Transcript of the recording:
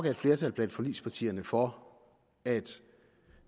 et flertal blandt forligspartierne for at